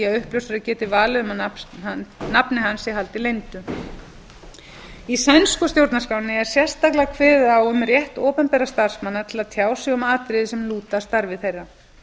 uppljóstrari geti valið um að nafni hans sé haldið leyndu í sænsku stjórnarskránni er sérstaklega kveðið á um rétt opinberra starfsmanna til að tjá sig um atriði sem lúta að starfi þeirra